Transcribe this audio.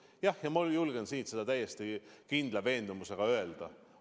Jah, ma julgen siit seda täiesti kindla veendumusega öelda.